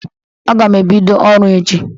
Aga m ebido ọrụ echi